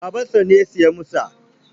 Babansa ne ya saya masa.